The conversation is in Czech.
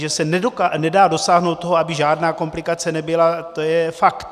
Že se nedá dosáhnout toho, aby žádná komplikace nebyla, to je fakt.